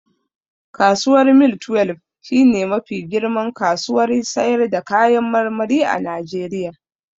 Kasuwar mile twelbe shi ne mafi girman kasuwar sayar da kayan marmari a Najeriya